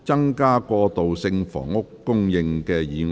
"增加過渡性房屋供應"議案。